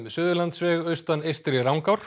Suðurlandsveg austan Eystri